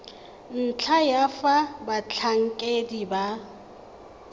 ntlha ya fa batlhankedi ba